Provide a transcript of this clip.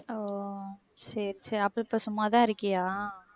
ஒ சரி சரி அப்போ இப்போ சும்மாதான் இருக்கியா